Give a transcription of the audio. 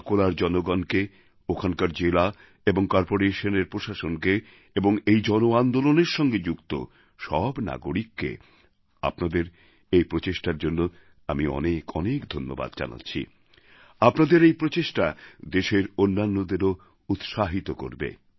আকোলার জনগণকে ওখানকার জেলা এবং করপোরেশনএর প্রশাসনকে এবং এই জন আন্দোলনের সঙ্গে যুক্ত সব নাগরিককে আপনাদের এই প্রচেষ্টার জন্য আমি অনেক অনেক ধন্যবাদ জানাচ্ছি আপনাদের এই প্রচেষ্টা দেশের অন্যান্যদেরও উৎসাহিত করবে